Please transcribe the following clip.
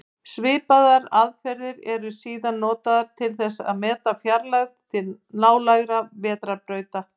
Svipaðar aðferðir eru síðan notaðar til að meta fjarlægð til nálægra vetrarbrauta.